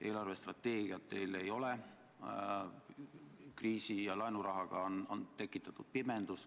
Eelarvestrateegiat teil ei ole, kriisi ja laenurahaga on tekitatud pimendus.